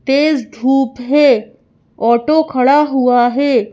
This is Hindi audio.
तेज धूप है ऑटो खड़ा हुआ है।